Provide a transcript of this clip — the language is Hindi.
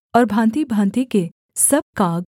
और भाँतिभाँति के सब काग